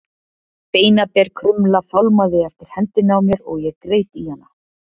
Beinaber krumla fálmaði eftir hendinni á mér og ég greip í hana.